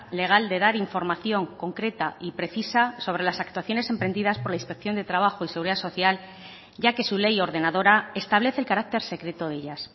legal de dar información concreta y precisa sobre las actuaciones emprendidas por la inspección de trabajo y seguridad social ya que su ley ordenadora establece el carácter secreto de ellas